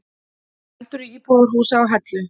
Eldur í íbúðarhúsi á Hellu